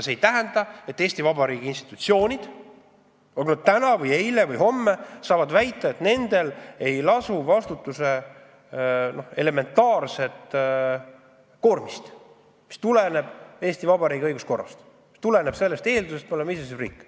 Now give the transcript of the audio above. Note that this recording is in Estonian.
See ei tähenda, et Eesti Vabariigi institutsioonid said eile või saavad täna või homme väita, et nendel ei lasu vastutuse elementaarset koormist, mis tuleneb Eesti Vabariigi õiguskorrast, mis tuleneb sellest, et me oleme iseseisev riik.